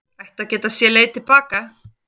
Ættu að geta séð leið til baka